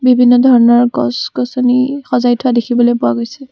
বিভিন্ন ধৰণৰ গছ-গছনি সজাই থোৱা দেখিবলৈ পোৱা গৈছে।